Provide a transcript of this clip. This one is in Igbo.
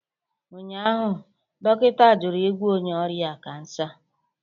Ụnyaahụ, dọkịta jụrụ ịgwọ onye ọrịa kansa